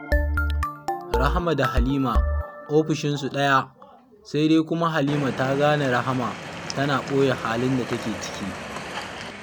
Rahama da Halima ofishinsu ɗaya, sai dai kuma Halima ta gane Rahama tana ɓoye halin da take ciki